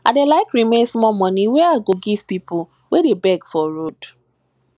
i dey like remain small moni wey i go give pipu wey dey beg for road